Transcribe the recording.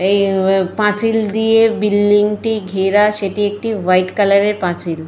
এই পাঁচিল দিয়ে বিল্ডিংটি ঘেরা। সেটি একটি হোয়াইট কালারের পাঁচিল।